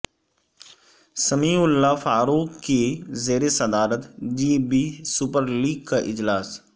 سمیع اللہ فاروق کی زیر صدارت جی بی سپر لیگ کااجلاس